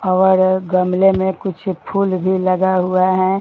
और गमले में कुछ फूल भी लगा हुआ है।